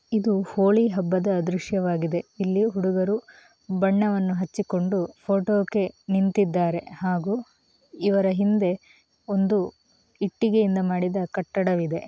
ಇದು ಹೋಳಿ ಹಬ್ಬದ ದೃಶ್ಯವಾಗಿದೆ ಇಲ್ಲಿ ಹುಡುಗರು ಬಣ್ಣವನ್ನು ಹಚ್ಚಿಕೊಂಡು ಫೋಟೋಗೆ ನಿಂತಿದ್ದಾರೆ ಹಾಗೂ ಇವರ ಹಿಂದೆ ಒಂದು ಇಟ್ಟಿಗೆಯಿಂದ ಮಾಡಿದ ಕಟ್ಟಡವಿದೆ.